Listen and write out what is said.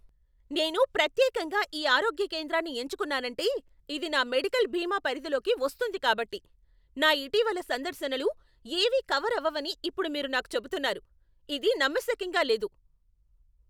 నేను ప్రత్యేకంగా ఈ ఆరోగ్య కేంద్రాన్ని ఎంచుకున్నానంటే ఇది నా మెడికల్ బీమా పరిధిలోకి వస్తుంది కాబట్టి. నా ఇటీవలి సందర్శనలు ఏవీ కవర్ అవ్వవని ఇప్పుడు మీరు నాకు చెప్తున్నారు? ఇది నమ్మశక్యంగా లేదు!